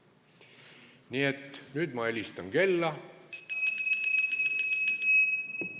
Nii et nüüd ma helistan kella.